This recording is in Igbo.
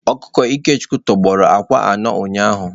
Ọkụkọ Ikechukwu tọgbọrọ akwa anọ ụnyahụ.